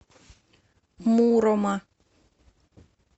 мурома